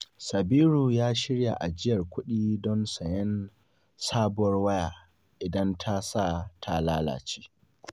Sabiru ya shirya ajiyar kuɗi don sayen sabuwar waya idan tasa ta lalace.